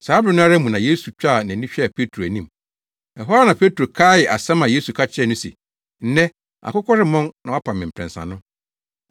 Saa bere no ara mu na Yesu twaa nʼani hwɛɛ Petro anim. Ɛhɔ ara na Petro kaee asɛm a Yesu ka kyerɛɛ no se, “Nnɛ, akokɔ remmɔn na woapa me mprɛnsa” no,